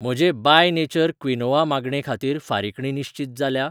म्हजे by nature quinoa मागणे खातीर फारिकणी निश्चीत जाल्या?